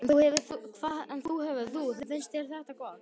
Óli: En þú hefur þú, finnst þér þetta gott?